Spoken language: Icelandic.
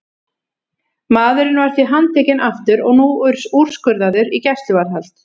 Maðurinn var því handtekinn aftur og nú úrskurðaður í gæsluvarðhald.